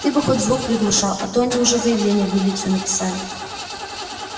ты бы хоть звук приглушал а то они уже заявление в милицию написали